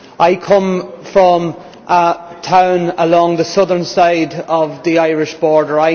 I come from a town along the southern side of the Irish border.